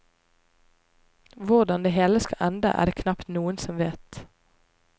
Hvordan det hele skal ende, er det knapt noen som vet.